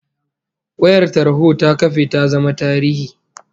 Wayar tarho ta kafe ta zama tarihi